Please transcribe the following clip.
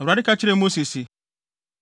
Awurade ka kyerɛɛ Mose se,